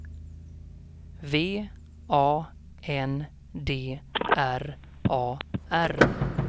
V A N D R A R